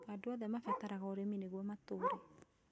Andũ othe mabataraga ũrĩmi nĩguo matũre